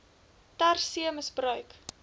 ter see misbruik